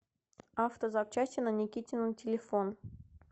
автозапчасти на никитина телефон